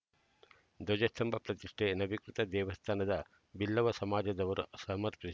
ಧ್ವಜಸ್ತಂಭ ಪ್ರತಿಷ್ಠೆ ನವೀಕೃತ ದೇವಸ್ಥಾನದ ಬಿಲ್ಲವ ಸಮಾಜದವರ ಸಮರ್ಪಿ